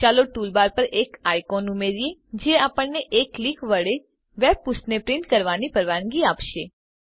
ચાલો ટૂલબાર પર એક આઈકોન ઉમેરીએ જે આપણને એક ક્લિક વડે વેબ પુષ્ઠને પ્રિંટ કરવાની પરવાનગી આપશે